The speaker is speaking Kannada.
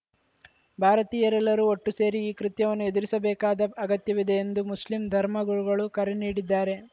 ಭಾರತೀಯರೆಲ್ಲರೂ ಒಟ್ಟುಸೇರಿ ಈ ಕೃತ್ಯವನ್ನು ಎದುರಿಸಬೇಕಾದ ಅಗತ್ಯವಿದೆ ಎಂದು ಮುಸ್ಲಿಂ ಧರ್ಮಗುರುಗಳು ಕರೆ ನೀಡಿದ್ದಾರೆ